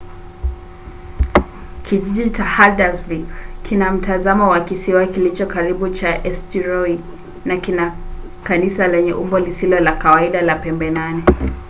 kijiji cha haldarsvik kina mtazamo wa kisiwa kilicho karibu cha eysturoi na kina kanisa lenye umbo lisilo la kawaida la pembe nane